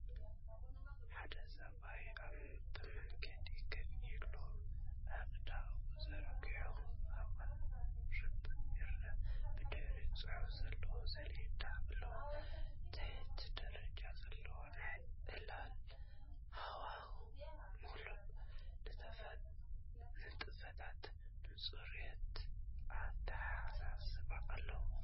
ሓደ ሰብኣይ ኣብ መኣዲ ኮፍ ኢሉ ኣእዳዉ ዘርጊሑ ከቕርብ ይርአ። ብድሕሪኡ ጽሑፍ ዘለዎ ሰሌዳ ኣሎ። ትሑት ደረጃ ዘለዎ ናይ ዕላል ሃዋህው፡ ምሉእ ንጥፈታትን ንጹርነት ኣተሓሳስባን ኣሎ።